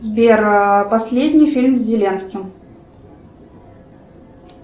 сбер последний фильм с зеленским